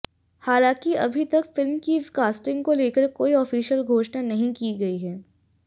हालांकि अभी तक फिल्म की कास्टिंग को लेकर कोई ऑफिशियल घोषणा नहीं की गई है